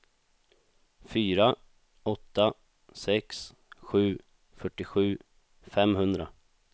fyra åtta sex sju fyrtiosju femhundra